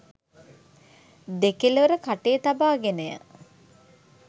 දෙකළවර කටේ තබා ගෙනය.